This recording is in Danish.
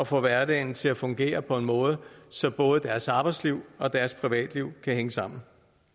få hverdagen til at fungere på en måde så både deres arbejdsliv og deres privatliv kan hænge sammen